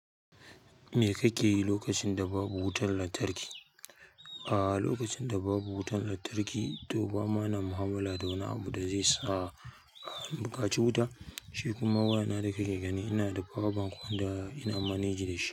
Me ka ke yi lokacin da babu wutar lantarki? A'a, lokacin da babu wutar lantarki to ba ma na mu'amala da wani abu da zai sa a buƙaci wuta. Shi kuma wayana da ki ke gani, ina da power bank wanda ina manage da shi.